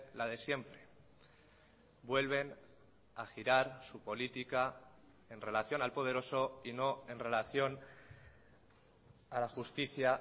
la de siempre vuelven a girar su política en relación al poderoso y no en relación a la justicia